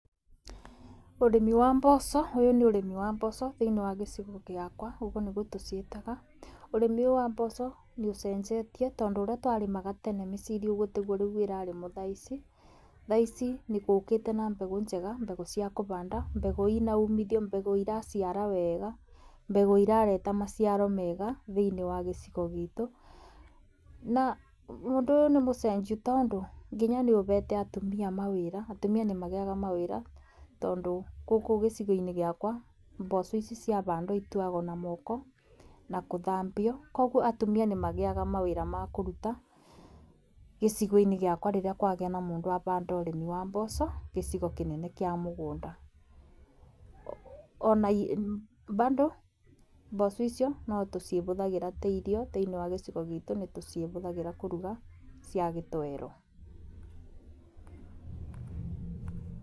Urĩmĩ wa mboco, ũyũ nĩ ũrĩmĩ wa mboco thĩniĩ wa gĩcĩgo gĩakwa ũgũo nĩgũo tũcĩetaga. Urĩmĩ ũyũ wa mboco nĩ ũcenjetĩe tondũ ũrĩa twarĩmaga tene mĩcĩrĩ ũgũo tĩgũo ũrĩa ĩraremwa thaa ĩcĩ. Thaa ĩcĩ, ngũkĩte na mbegũ njega mbegũ cĩa kũhanda mbegũ ĩna ũmĩthĩo, mbegũ ĩracĩara wega, mbegũ ĩrarehe macĩaro mega thĩĩnĩ wa gĩcĩgo gĩtũ. Na ũndũ ũyũ nĩ mũcenjĩe tondũ nĩ ũhete atũmĩa mawĩra. Atũmĩa nĩmagĩte mawĩra tondũ gũkũ gĩcĩgo-ĩnĩ gĩakwa mboco ĩcĩo cĩahandwa ĩtuagwo na moko na kũthambĩo kogũo atũmĩa nĩ mageĩaga mawĩra wa korũta gĩcĩgo-ĩnĩ gĩakwa rerĩa kwageĩa na mũndũ wa mbanda ũrĩmĩ wa mboco gĩcĩgo kĩnĩ kĩa mũgũnda na bado mboco notũcĩhũthangĩra ta ĩrĩo nĩtũcihũthagĩra kũrũga cĩa gĩtowero.